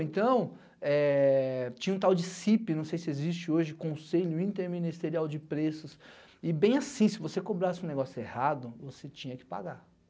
Então, tinha um tal de cêipê, não sei se existe hoje, Conselho Interministerial de Preços, e bem assim, se você cobrasse um negócio errado, você tinha que pagar.